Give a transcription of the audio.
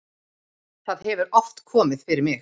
það hefur oft komið fyrir mig.